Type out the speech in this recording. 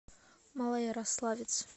малоярославец